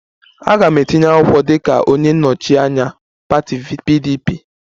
Aga m etinye akwụkwọ dịka onye nnọchi anya pati PDP